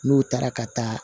N'o taara ka taa